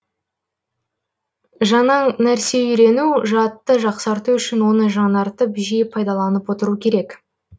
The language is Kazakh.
жаңа нәрсе үйрену жадты жақсарту үшін оны жаңартып жиі пайдаланып отыру керек